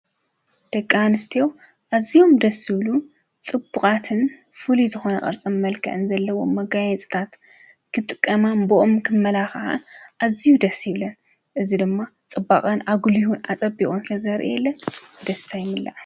ደቂ ኣንስትዮ ኣዚዮም ደሥ ዝብሉ ጽቡቓትን ፍልይ ዝኾነ ቕርጸም መልከዕን ዘለዎ መጋይጽታት ክጥቀማ ቦኦም ክመላ ኸዓን እዚዩ ደስ ይብለን እዝ ድማ ጽባቐን ኣጕልይሁን ኣጸቢኦን ስለ ዘርእ የለን ደስታ ይምላእ።